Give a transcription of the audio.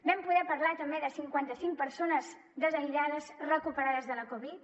vam poder parlar també de cinquanta cinc persones desaïllades recuperades de la covid